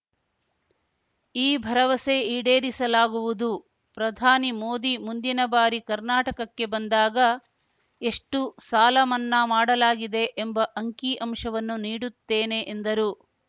ಈ ಭರವಸೆ ಈಡೇರಿಸಲಾಗುವುದು ಪ್ರಧಾನಿ ಮೋದಿ ಮುಂದಿನ ಬಾರಿ ಕರ್ನಾಟಕಕ್ಕೆ ಬಂದಾಗ ಎಷ್ಟುಸಾಲ ಮನ್ನಾ ಮಾಡಲಾಗಿದೆ ಎಂಬ ಅಂಕಿಅಂಶವನ್ನು ನೀಡುತ್ತೇನೆ ಎಂದರು